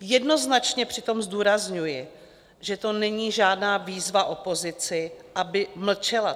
Jednoznačně přitom zdůrazňuji, že to není žádná výzva opozici, aby mlčela.